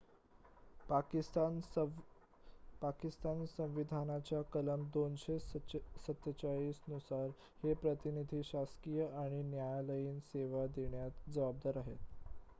पाकिस्तान संविधानाच्या कलम 247 नुसार हे प्रतिनिधी शासकीय आणि न्यायालयीन सेवा देण्यास जबाबदार आहेत